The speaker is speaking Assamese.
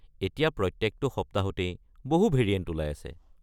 এতিয়া প্ৰত্যেকটো সপ্তাহতেই বহু ভেৰিয়েণ্ট ওলাই আছে।